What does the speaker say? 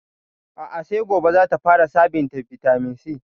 A'a sai gobe zata fara shan bitaminsi